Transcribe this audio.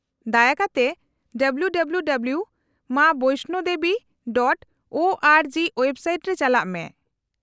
-ᱫᱟᱭᱟ ᱠᱟᱛᱮ www.maavaishnodevi.org. Website ᱨᱮ ᱪᱟᱞᱟᱜ ᱢᱮ ᱾